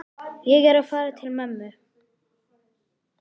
Ég er að fara til mömmu.